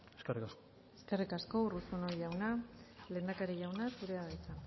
eskerrik asko eskerrik asko urruzuno jauna lehendakari jauna zurea da hitza